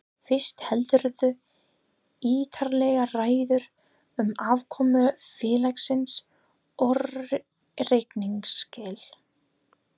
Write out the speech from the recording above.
Fyrst heldurðu ítarlega ræðu um afkomu félagsins og reikningsskil.